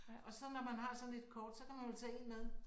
Og så når man har sådan et kort så kan man jo tage en med